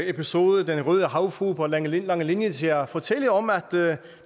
episode den røde havfrue på langelinie langelinie til at fortælle om at